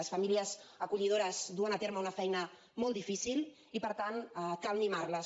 les famílies acollidores duen a terme una feina molt difícil i per tant cal mimarles